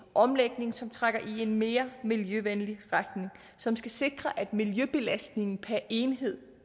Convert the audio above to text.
omlægning som trækker i en mere miljøvenlig retning som skal sikre at miljøbelastningen per enhed